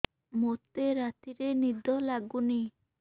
ମୋତେ ରାତିରେ ନିଦ ଲାଗୁନି